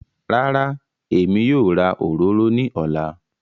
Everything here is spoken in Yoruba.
Rárá, Èmi yóò rà òròrò ní òlá.